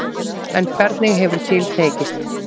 En hvernig hefur til tekist.